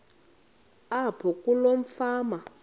apho kuloo fama